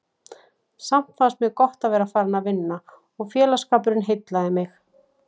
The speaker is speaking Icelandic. Samt fannst mér gott að vera farin að vinna og félagsskapurinn heillaði mig.